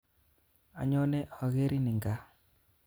Anyone okerin eng gaa